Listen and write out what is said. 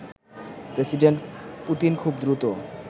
president Putin খুব দ্রুত